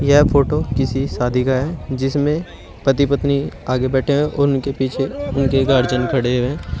यह फोटो किसी शादी का है जिसमें पति पत्नी आगे बैठे हैं उनके पीछे उनके गार्जियन खड़े हैं।